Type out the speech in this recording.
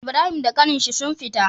Ibrahim da ƙanin shi sun fita